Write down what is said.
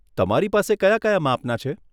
તમારી પાસે કયા કયા માપના છે?